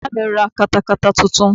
Bàbá mí ra katakata titun